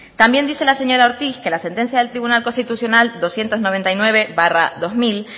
también dice la señora ortiz que la sentencia del tribunal constitucional doscientos noventa y nueve barra dos mil